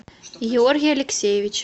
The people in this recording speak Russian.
георгий алексеевич